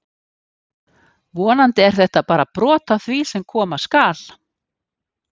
Vonandi er þetta bara brot af því sem koma skal!